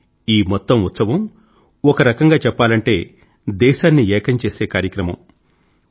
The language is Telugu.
కానీ ఈ మొత్తం ఉత్సవం ఒకరకంగా చెప్పాలంటే దేశాన్ని ఏకం చేసే కార్యక్రమం